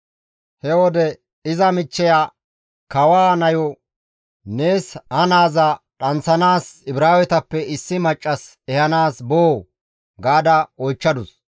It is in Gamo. He wode iza michcheya kawaa nayo, «Nees ha naaza dhanththanaas Ibraawetappe issi maccas ehanaas boo?» gaada oychchadus.